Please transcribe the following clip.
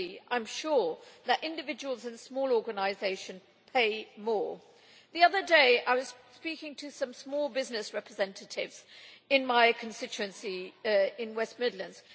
I am sure that individuals in small organisations pay more proportionally. The other day I was speaking to some small business representatives in my constituency in the West Midlands.